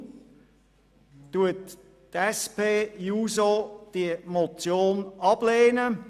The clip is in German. Deshalb lehnt die SP-JUSO-PSA-Fraktion diese Motion ab.